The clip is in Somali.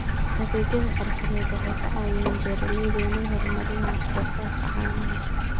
Adeegyada xirfadeed waxay ka caawiyaan beeralayda inay horumariyaan wax soo saarka caanaha.